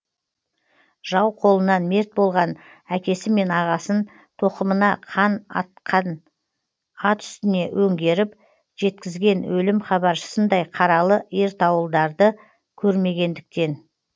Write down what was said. жау қолынан мерт болған әкесі мен ағасын тоқымына қан атқан ат үстіне өңгеріп жеткізген өлім хабаршысындай қаралы ертауылдарды көрмегендіктен